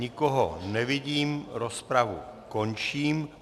Nikoho nevidím, rozpravu končím.